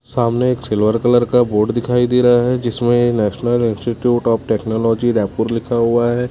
सामने एक silver colour का बोर्ड दिखाई दे रहा है जिसमें national institute of technology Raipur लिखा हुआ है।